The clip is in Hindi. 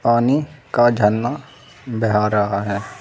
पानी का झरना बेहा रहा है।